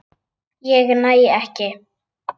Ég næ ekki.